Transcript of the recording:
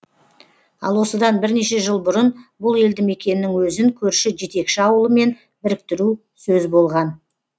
ал осыдан бірнеше жыл бұрын бұл елді мекеннің өзін көрші жетекші ауылмен біріктіру сөз болған